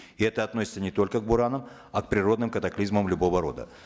и это относится не только к буранам а к природным катаклизмам любого рода